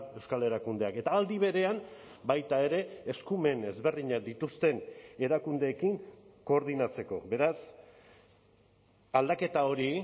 euskal erakundeak eta aldi berean baita ere eskumen ezberdinak dituzten erakundeekin koordinatzeko beraz aldaketa hori